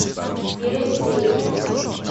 пересвете